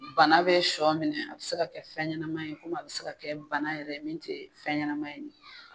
bana bɛ sɔ minɛ a bɛ se ka kɛ fɛn ɲɛnama ye komi a bɛ se ka kɛ bana yɛrɛ min te fɛn ɲɛnama ye